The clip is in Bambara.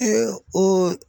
o